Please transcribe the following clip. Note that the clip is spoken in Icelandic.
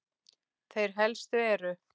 Þeir helstu eru